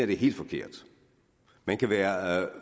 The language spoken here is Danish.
det er helt forkert man kan være